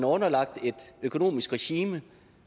underlagt et økonomisk regime